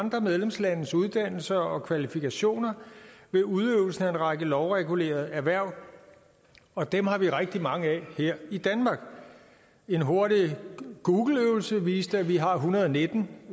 andre medlemslandes uddannelser og kvalifikationer ved udøvelsen af en række lovregulerede erhverv og dem har vi rigtig mange af her i danmark en hurtig øvelse på google viste at vi har en hundrede og nitten